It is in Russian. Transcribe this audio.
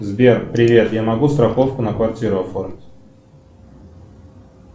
сбер привет я могу страховку на квартиру оформить